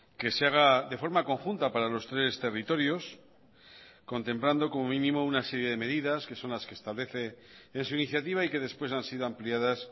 que se haga de forma conjunta para los tres territorios contemplando como mínimo una serie de medidas que son las que establece en su iniciativa y que después han sido ampliadas